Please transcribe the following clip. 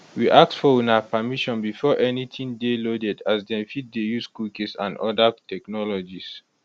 we ask for una permission before anytin dey loaded as dem fit dey use cookies and oda technologies